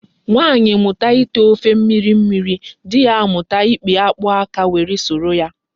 Nwaanyi muta ite ofe mmiri mmiri, di ya amuta ipi akpu aka were suru ya